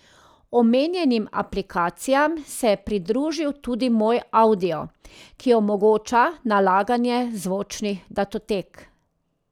Omenjenim aplikacijam se je pridružil tudi Moj Avdio, ki omogoča nalaganje zvočnih datotek.